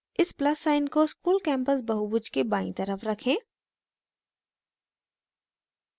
इस plus sign को school campus बहुभुज के बायीं तरफ रखें